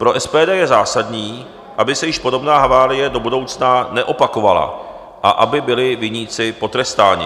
Pro SPD je zásadní, aby se již podobná havárie do budoucna neopakovala a aby byli viníci potrestáni.